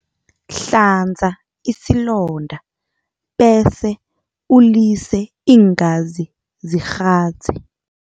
Hlanza isilonda bese ulise iingazi zikghadze.